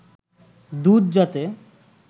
দুধ যাতে